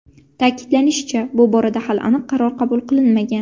Ta’kidlanishicha, bu borada hali aniq qaror qabul qilinmagan.